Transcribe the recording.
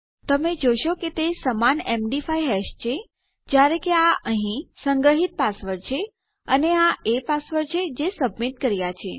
તમે જોશો કે તે સમાન એમડી5 હેશ છે જયારે કે આ અહીં સંગ્રહીત પાસવર્ડ છે અને આ એ પાસવર્ડ છે જે સબમીટ કર્યા છે